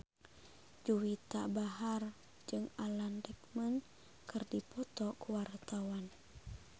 Juwita Bahar jeung Alan Rickman keur dipoto ku wartawan